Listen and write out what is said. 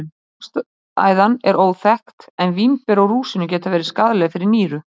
Ástæðan er óþekkt en vínber og rúsínur geta verið skaðleg fyrir nýru.